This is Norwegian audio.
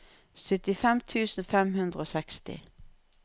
syttifem tusen fem hundre og seksti